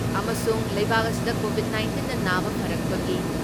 ꯑꯃꯁꯨꯡ ꯂꯩꯕꯥꯛ ꯑꯁꯤꯗ ꯀꯣꯚꯤꯠ ꯅꯥꯏꯟꯇꯤꯟꯅ ꯅꯥꯕ ꯐꯔꯛꯄꯒꯤ